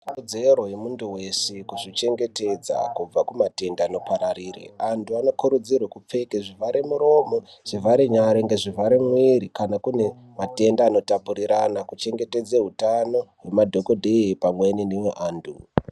Ikodzero yemunthu weshe kuzvichengetedza kubva kumatenda anopararire anthu anokurudzirwe kupfeka zvivhare muromo zvivhare nyara ngezvivhare mwiri kana kune matenda anotapurirana kuchengetedze hutano hwemadhokodheya pamweni neweanthu.